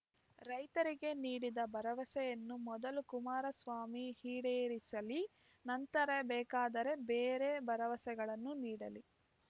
ರೈತರಿಗೆ ನೀಡಿದ ಭರವಸೆಯನ್ನು ಮೊದಲು ಕುಮಾರಸ್ವಾಮಿ ಈಡೇರಿಸಲಿ ನಂತರ ಬೇಕಾದರೆ ಬೇರೆ ಭರವಸೆಗಳನ್ನು ನೀಡಲಿ